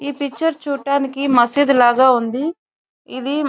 ఈ పిక్చర్ చూడటానికి మసీదులాగా ఉంది. ఇది --